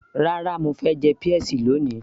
rárá, mo fẹ́ jẹ peas lóni